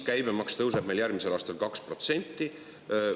Käibemaks tõuseb meil järgmisel aastal 2%.